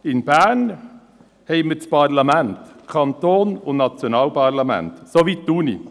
In Bern befinden sich das Kantons- und das Bundesparlament sowie die Universität.